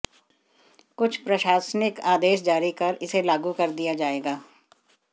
कुछ प्रशासनिक आदेश जारी कर इसे लागू कर दिया जाएगा